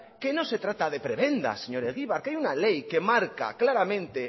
que no se trata de prebendas señor egibar que hay una ley que marca claramente